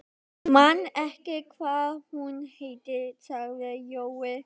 Man ekki hvað hún heitir, sagði Jói.